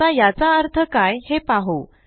आता याचा अर्थ काय हे पाहु